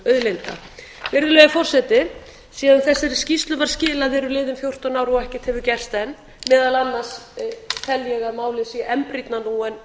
náttúruauðlinda virðulegi forseti síðan þessari skýrslu var skilað eru liðin fjórtán ár og ekkert hefur gerst enn meðal annars tel ég að málið sé enn brýnna nú en var